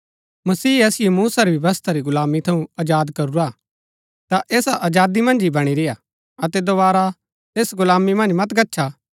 मसीह असिओ मूसा री व्यवस्था री गुलामी थऊँ आजाद करूरा हा ता ऐसा आजादी मन्ज ही बणी रेय्आ अतै दोवारा ऐस गुलामी मन्ज मत गच्छा